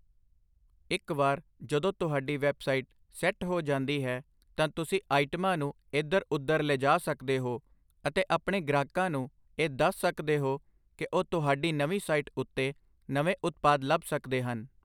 ਇੱਕ ਵਾਰ ਜਦੋਂ ਤੁਹਾਡੀ ਵੈੱਬਸਾਈਟ ਸੈੱਟ ਹੋ ਜਾਂਦੀ ਹੈ, ਤਾਂ ਤੁਸੀਂ ਆਈਟਮਾਂ ਨੂੰ ਇੱਧਰ ਉੱਧਰ ਲਿਜਾ ਸਕਦੇ ਹੋ ਅਤੇ ਆਪਣੇ ਗ੍ਰਾਹਕਾਂ ਨੂੰ ਇਹ ਦੱਸ ਸਕਦੇ ਹੋ ਕੀ ਉਹ ਤੁਹਾਡੀ ਨਵੀਂ ਸਾਈਟ ਉੱਤੇ ਨਵੇਂ ਉਤਪਾਦ ਲੱਭ ਸਕਦੇ ਹਨ।